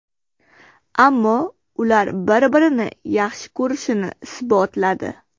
Ammo ular bir-birini yaxshi ko‘rishini isbotladi.